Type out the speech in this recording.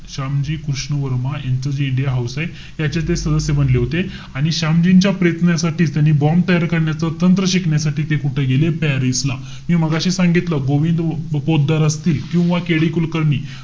शामजी कृष्ण वर्मा, यांचं जे India house आहे, त्याचे ते सदस्य बनले होते. आणि शामजींच्या प्रयत्नांसाठीच त्यांनी bomb तयार करण्याचं तंत्र शिकण्यासाठी ते कुठे गेले? पॅरिस ला. मी मघाशी सांगितलं, गोविंद पोतदार असतील किंवा KD कुलकर्णी,